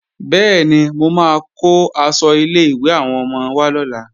Bẹ́ẹ̀ni, mo máa kó aṣọ ilé-ìwé àwọn ọmọ wá lọ́la